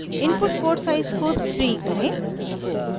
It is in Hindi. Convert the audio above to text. input port size को 3 करें